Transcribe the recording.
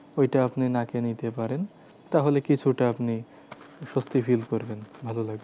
ঐটা আপনি নাকে নিতে পারেন। তাহলে কিছুটা আপনি সস্থি feel করবেন ভালো লাগবে।